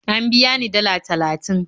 An biya ni dalla talatin